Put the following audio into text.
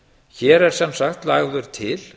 hér er sem sagt lagður til